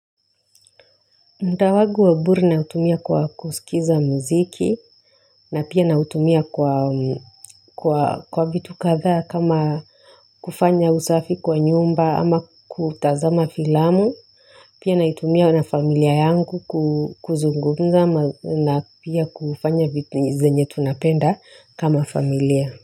Muda wangu wa bure na utumia kwa kusikiza muziki, na pia na utumia kwa vitu kadhaa kama kufanya usafi kwa nyumba ama kutazama filamu, pia na itumia na familia yangu kuzungumza na pia kufanya vitu zenye tunapenda kama familia.